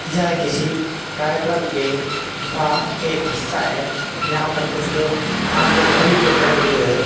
यह किसी कार्यक्रम के का एक हिस्सा है यहां पर कुछ लोग हाथ मे ध्वज लिए खड़े हैं।